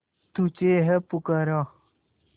तुझे है पुकारा